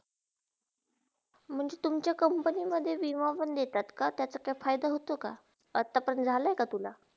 म्हणजे तुमच्या company मध्ये विमा पण देतात का? त्याचा काय फायदा होता का? आता पण झाला आहे का तुझा?